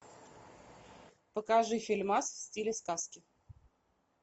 покажи фильмас в стиле сказки